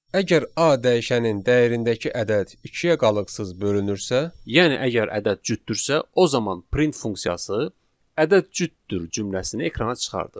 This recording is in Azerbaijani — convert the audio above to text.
Əgər a dəyişənin dəyərindəki ədəd ikiyə qalıqsız bölünürsə, yəni əgər ədəd cütdürsə, o zaman print funksiyası "ədəd cütdür" cümləsini ekrana çıxarır.